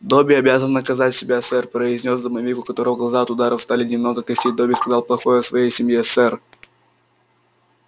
добби обязан наказать себя сэр произнёс домовик у которого глаза от ударов стали немного косить добби сказал плохое о своей семье сэр